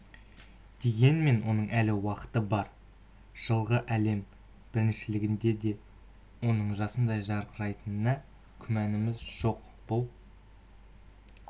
дегенмен оның әлі уақыты бар жылғы әлем біріншілігінде де оның жасындай жарқырайтынына күмәніміз жоқ бұл